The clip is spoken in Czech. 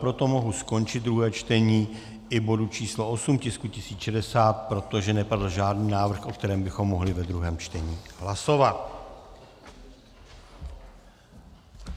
Proto mohu skončit druhé čtení i bodu číslo 8 tisku 1060, protože nepadl žádný návrh, o kterém bychom mohli ve druhém čtení hlasovat.